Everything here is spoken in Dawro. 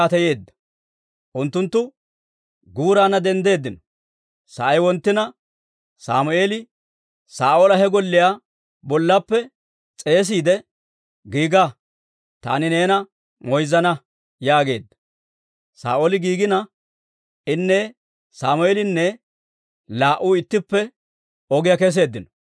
Unttunttu guuraanna denddeeddino; sa'ay wonttina, Sammeeli Saa'oola he golliyaa bollaappe s'eesiide, «Giiga; taani neena moyzzana» yaageedda. Saa'ooli giigina, inne Sammeelinne laa"u ittippe ogiyaa keseeddino.